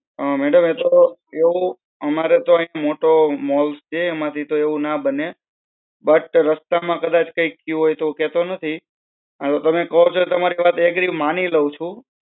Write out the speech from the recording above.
mdam એ તો એવું અમારે તો અય્યા મોટો મોલ છે. એમાં થી તો એવું ના બને. બટ રસ્તા માં કદાચ કયું હોય તો કેતો નથી. ઓર તમે કેવો તો તમારી વાત એકરી માની લેવું છું.